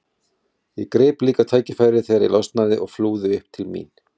Svo spjöllum við um veðrið smá stund áður en við förum að sofa.